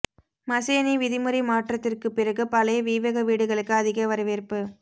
மசேநி விதிமுறை மாற்றத்திற்குப் பிறகு பழைய வீவக வீடுகளுக்கு அதிக வரவேற்பு